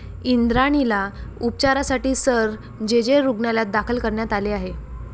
इंद्राणीला उपचारासाठी Sir J. J. रुग्णालयात दाखल करण्यात आले आहे.